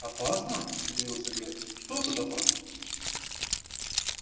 опасно удивился гарри что тут опасного